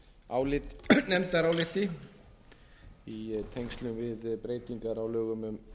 minnihlutanefndaráliti í tengslum við breytingar á lögum um